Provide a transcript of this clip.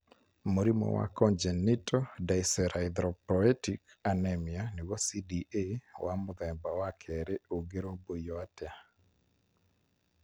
Mũrimũ wa congenital dyserythropoietic anemia (CDA) wa mũthemba wa kerĩ ũngĩrũmbũiyo atĩa?